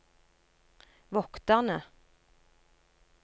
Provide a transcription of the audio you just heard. vokterne